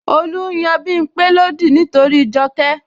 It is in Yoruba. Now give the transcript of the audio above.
Olu n yan Bimpe lódì nítorí Joke